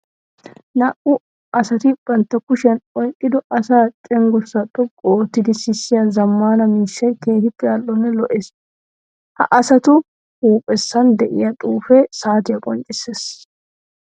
Naa''u asatti bantta kushiyan oyqqido asaa cenggurssa xoqqu oottidi sissiya zamana miishshay keehippe ali'onne lo'ees. Ha asattu huuphphesan de'iya xuufe saatiya qonccisseesi.